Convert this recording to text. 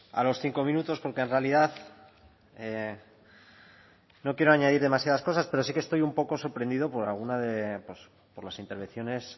a los cinco minutos porque en realidad no quiero añadir demasiadas cosas pero sí que estoy un poco sorprendido por alguna de pues por las intervenciones